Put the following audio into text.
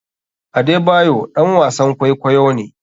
Adebayor ɗan wasn kwaikwayo ne.